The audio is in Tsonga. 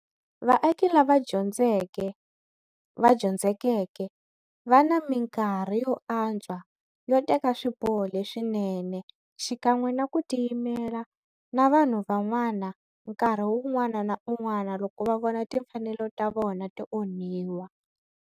Vaaki lava dyondzekeke va na minkarhi yo antswa yo teka swiboho leswinene xikan'we na ku tiyimela na vanhu van'wana nkarhi wun'wana na wun'wana loko va vona timfanelo ta vona ti onhiwa.